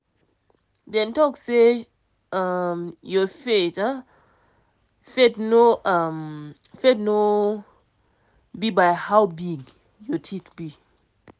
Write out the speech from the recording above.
dem talk say um your faith um faith no um faith no um be by how big your be.